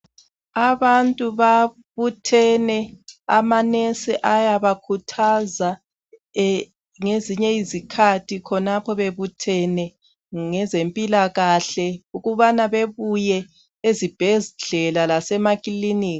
Abantu babuthane amanensi ayabakhuthaza ngezinye izikhathi khonapho bebuthene ngezempilakahle ukubana bebuye ezibhedlela lasemaklinika.